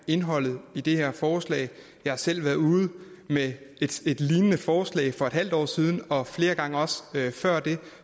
indholdet i det her forslag jeg har selv været ude med et lignende forslag for et halvt år siden og også flere gange før det